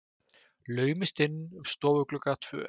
Laumast inn um stofugluggana tvo.